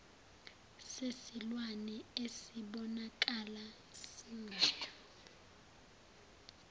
sesilwane esibonakala singayo